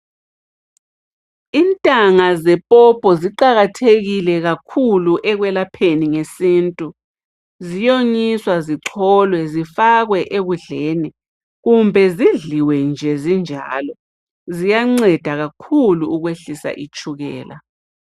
Intanga zepopo ziqakathekile kakhulu ekwelapheni ngesintu. Ziyonyiswa zicholwe zifakwe ekudleni, kumbe zidliwe nje zinjalo. Ziyanceda kakhulu ukwehlisa itshukela.